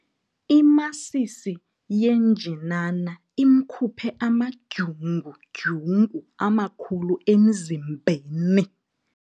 Imasisi yenjinana imkhuphe amadyungudyungu amakhulu emzimbeni.